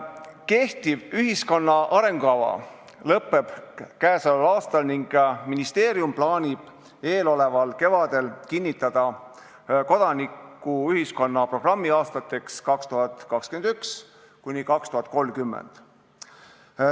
Kehtiv ühiskonna arengukava lõpeb käesoleval aastal ning ministeerium plaanib eeloleval kevadel kinnitada kodanikuühiskonna programmi aastateks 2021–2030.